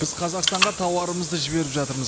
біз қазақстанға тауарымызды жіберіп жатырмыз